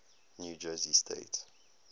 new jersey state